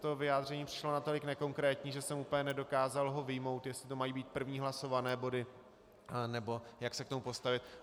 To vyjádření mi přišlo natolik nekonkrétní, že jsem úplně nedokázal ho vyjmout, jestli to mají být první hlasované body, nebo jak se k tomu postavit.